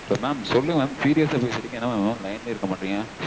Mam சொல்லுங்க mam serious -ஆ பேசிட்டிருக்கேன் என்ன mam line -லயே இருக்க மாட்டேங்கிறீங்க?